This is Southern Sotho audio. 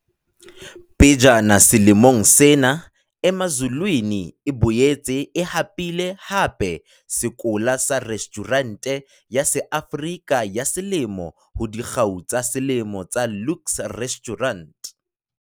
Pejana selemong sena Emazulwini e boetse e hapile hape sekola sa Restjhurente ya SeAfrika ya Selemo ho Dikgau tsa Selemo tsa Luxe Restaurant.